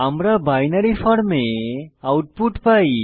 আমরা বাইনারি ফর্মে আউটপুট পাই